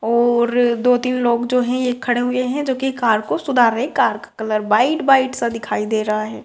और दो-तीन लोग जो हैं ये एक खड़े हुये हैं जो कि कार को सुधार रहे हैं कार का कलर वाइट - वाइट सा दिखाई दे रहा है।